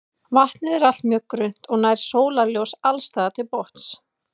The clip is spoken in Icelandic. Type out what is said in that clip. Vatnið er allt mjög grunnt og nær sólarljós alls staðar til botns.